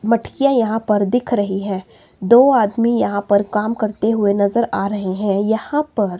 मटकिया यहां पर दिख रही है दो आदमी यहां पर काम करते हुए नजर आ रहे हैं। यहां पर--